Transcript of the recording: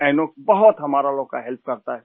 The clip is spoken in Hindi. इनॉक्स बहुत हमारा लोगों का हेल्प करता है